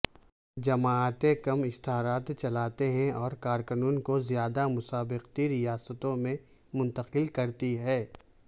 جماعتیں کم اشتھارات چلاتے ہیں اور کارکنوں کو زیادہ مسابقتی ریاستوں میں منتقل کرتی ہیں